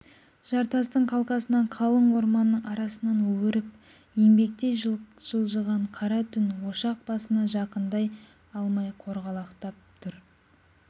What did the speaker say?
жартастың қалқасынан қалың орманның арасынан өріп еңбектей жылжыған қара түн ошақ басына жақындай алмай қорғалақтап тұр